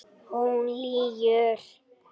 Hún lýgur.